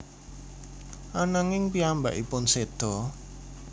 Ananging piyambakipun seda